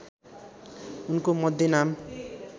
उनको मध्य नाम